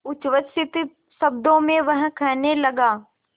उच्छ्वसित शब्दों में वह कहने लगा